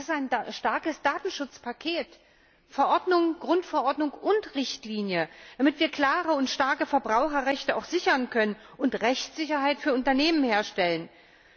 Das ist ein starkes Datenschutzpaket Verordnung, Grundverordnung und Richtlinie damit wir klare und starke Verbraucherrechte auch sichern und Rechtssicherheit für Unternehmen herstellen können.